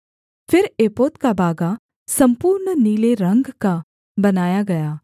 फिर एपोद का बागा सम्पूर्ण नीले रंग का बनाया गया